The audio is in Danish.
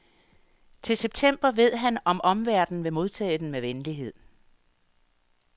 Til september ved han om omverdenen vil modtage den med venlighed.